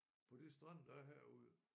På de strande der er herude